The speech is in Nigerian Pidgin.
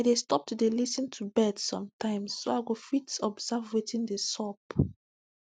i dey stop to dey lis ten to birds sometimes so i go fit observe wetin dey sup